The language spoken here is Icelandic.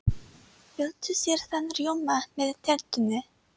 Viltu sýrðan rjóma með tertunni?